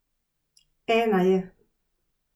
Ena je.